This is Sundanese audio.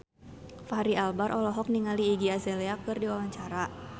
Fachri Albar olohok ningali Iggy Azalea keur diwawancara